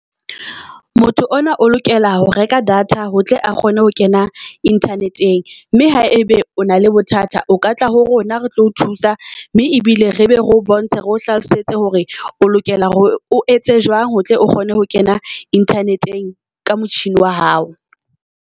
Motho ona o lokela ho reka data ho tle a kgone ho kena internet-eng. Mme ha ebe o na le bothata o ka tla ho rona re tlo o thusa. Mme ebile re be re o bontshe re o hlalosetse hore o lokela hore o etse jwang ho tle o kgone ho kena internet-eng ka motjhini wa hao.